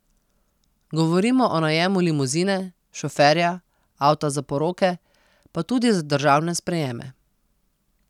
Govorimo o najemu limuzine, šoferja, avta za poroke pa tudi za državne sprejeme.